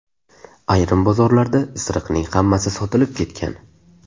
Ayrim bozorlarda isiriqning hammasi sotilib ketgan.